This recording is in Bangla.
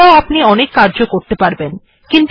এটির দ্বারাও আপনি অনেক কার্য ই করতে পারবেন